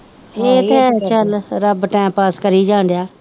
ਰੱਬ time pass ਕਰੀ ਜਾਨ ਡੇਆ